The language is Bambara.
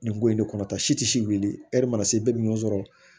Nin ko in ne kɔnɔ ta si tɛ siri mana se bɛɛ bɛ ɲɔn sɔrɔ